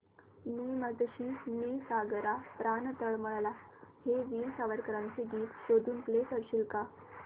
ने मजसी ने सागरा प्राण तळमळला हे वीर सावरकरांचे गीत शोधून प्ले करशील का प्लीज